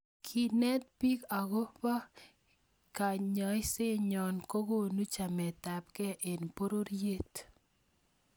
kenet bik ako Kobo kechesannyo kokonu chametabgei eng pororiet